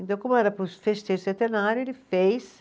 Então, como era para os festejos centenário, ele fez.